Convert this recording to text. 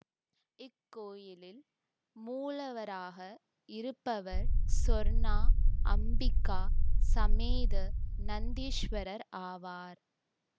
இக்கோயிலில் மூலவராக இருப்பவர் சொர்ணா அம்பிக்கா சமேத நந்தீஸ்வரர் ஆவார்